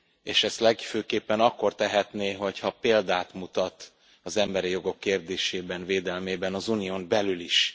És ezt legfőképpen akkor tehetné, ha példát mutatna az emberi jogok kérdésében, védelmében az Unión belül is.